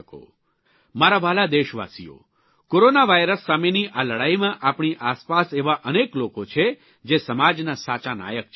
મારા વ્હાલા દેશવાસીઓ કોરોના વાયરસ સામેની આ લડાઇમાં આપણી આસપાસ એવા અનેક લોકો છે જે સમાજના સાચા નાયક છે